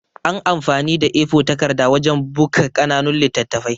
An amfani da A4 takarda wajan buka ƙananun littattafai